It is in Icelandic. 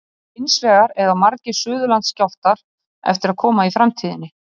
Hins vegar eiga margir Suðurlandsskjálftar eftir að koma í framtíðinni.